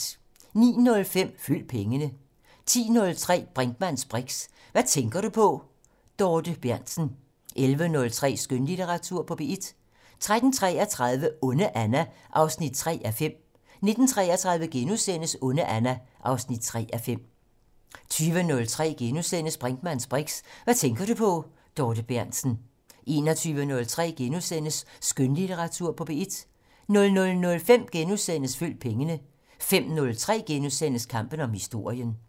09:05: Følg pengene 10:03: Brinkmanns briks: Hvad tænker du på? Dorthe Berntsen 11:03: Skønlitteratur på P1 13:33: Onde Anna 3:5 19:33: Onde Anna 3:5 * 20:03: Brinkmanns briks: Hvad tænker du på? Dorthe Berntsen * 21:03: Skønlitteratur på P1 * 00:05: Følg pengene * 05:03: Kampen om historien *